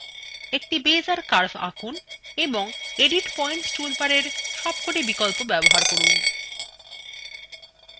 একটি বেইজের কার্ভ আঁকুন এবং এডিট পয়েন্টসটুলবারের সবকটি বিকল্প ব্যবহার করুন